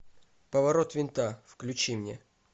поворот винта включи мне